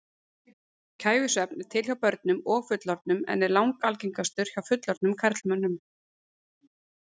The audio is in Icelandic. Kæfisvefn er til hjá börnum og fullorðnum en er langalgengastur hjá fullorðnum karlmönnum.